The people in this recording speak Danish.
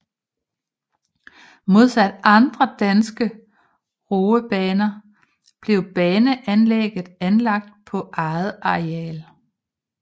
Modsat andre danske roebaner blev baneanlægget anlagt på eget areal